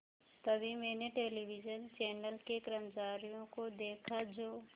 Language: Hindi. तभी मैंने टेलिविज़न चैनल के कर्मचारियों को देखा जो